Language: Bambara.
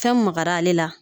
Fɛn magara ale la